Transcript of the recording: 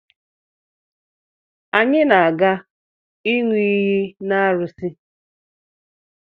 Anyi na-aga ịṅị iyi n'arusi